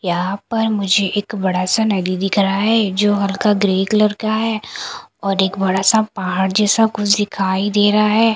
यहां पर मुझे एक बड़ा सा नदी दिख रहा है जो हल्का ग्रे कलर का है और एक बड़ा सा पहाड़ जैसा कुछ दिखाई दे रहा है।